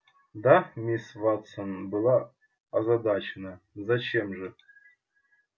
да миссис вестон была озадачена зачем же